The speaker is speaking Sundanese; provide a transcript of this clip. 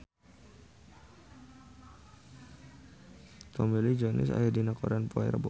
Tommy Lee Jones aya dina koran poe Rebo